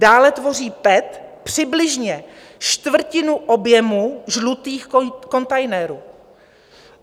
Dále tvoří PET přibližně čtvrtinu objemu žlutých kontejnerů.